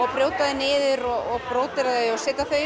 að brjóta þau niður og bródera þau og setja þau